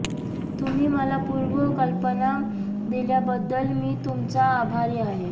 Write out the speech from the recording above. तुम्ही मला पूर्व कल्पाना दिल्याबद्दल मी तुमचा आभारी आहे